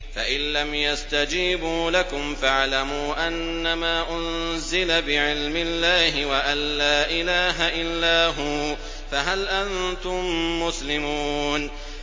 فَإِلَّمْ يَسْتَجِيبُوا لَكُمْ فَاعْلَمُوا أَنَّمَا أُنزِلَ بِعِلْمِ اللَّهِ وَأَن لَّا إِلَٰهَ إِلَّا هُوَ ۖ فَهَلْ أَنتُم مُّسْلِمُونَ